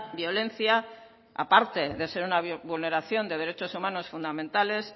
violencia aparte de ser una vulneración de derechos humanos fundamentales